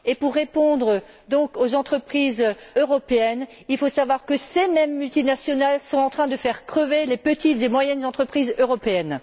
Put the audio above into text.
Et pour répondre donc aux entreprises européennes, il faut savoir que ces mêmes multinationales sont en train de faire crever les petites et moyennes entreprises européennes.